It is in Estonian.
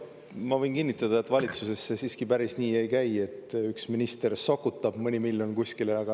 Ma võin kinnitada, et valitsuses see siiski päris nii ei käi, et üks minister sokutab mõne miljoni kuskile.